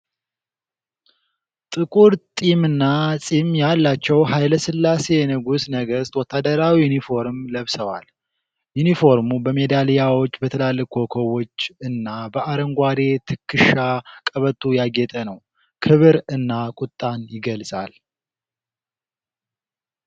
ጥቁር ጢምና ፂም ያላቸው ሀይለስላሴ የንጉሠ ነገሥት ወታደራዊ ዩኒፎርም ለብሰዋል። ዩኒፎርሙ በሜዳሊያዎች፣ በትላልቅ ኮከቦች እና በአረንጓዴ የትከሻ ቀበቶ ያጌጠ ነው። ክብር እና ቁጣን ይገልጻል።